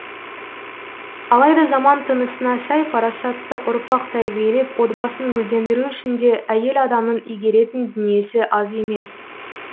алайда заман тынысына сай парасатты ұрпақ тәрбиелеп отбасын гүлдендіру үшін де әйел адамның игеретін дүниесі аз емес